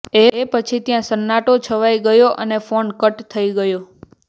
એ પછી ત્યાં સન્નાટો છવાઈ ગયો અને ફોન કટ થઇ ગયો